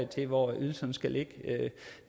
til hvor ydelserne skal ligge